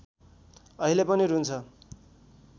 अहिले पनि रुन्छ